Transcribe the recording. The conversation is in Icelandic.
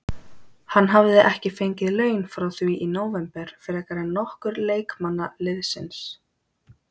Hann hafði ekki fengið laun frá því í nóvember frekar en nokkur leikmanna liðsins.